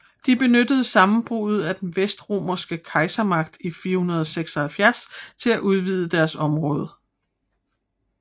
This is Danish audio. De benyttede sammenbruddet af den vestromerske kejsermagt i 476 til at udvide deres område